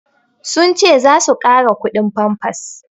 Sun ce za su ƙara kudin famfas